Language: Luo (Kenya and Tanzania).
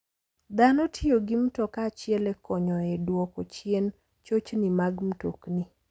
Dhano tiyo gi mtoka achiel e konyo e duoko chien chochni mag mtokni.